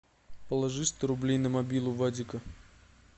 положи сто рублей на мобилу вадика